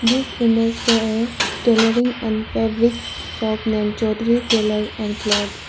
This image show a tailoring and fabric shop name choudhury tailor and clothes.